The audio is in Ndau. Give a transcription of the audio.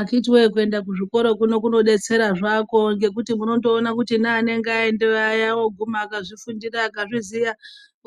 Akiti woyee kuenda kuzvikora kunobetsera zvako ngekuti munonoona kuti anenge ayendeyo aya oguma akzvifundira akazviziva